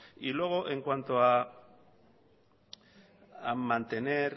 y luego en cuanto a mantener